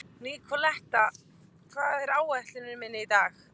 Nikoletta, hvað er á áætluninni minni í dag?